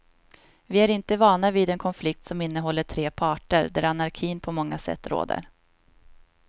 Vi är inte vana vid en konflikt som innehåller tre parter och där anarkin på många sätt råder.